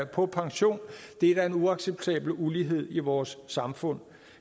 på pension det er da en uacceptabel ulighed i vores samfund